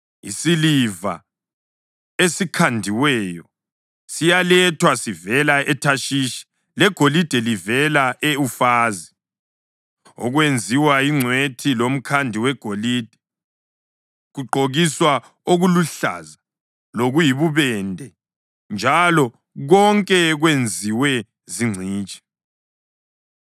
Isiliva esikhandiweyo siyalethwa sivela eThashishi legolide livela e-Ufazi. Okwenziwe yingcwethi lomkhandi wegolide kugqokiswa okuluhlaza lokuyibubende, njalo konke kwenziwe zingcitshi.